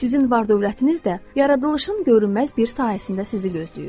Sizin var-dövlətiniz də yaradılışın görünməz bir sahəsində sizi gözləyir.